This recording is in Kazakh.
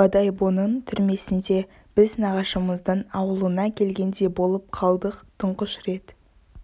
бодойбоның түрмесінде біз нағашымыздың ауылына келгендей болып қалдық тұңғыш рет